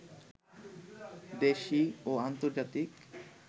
দেশি ও আন্তর্জাতিক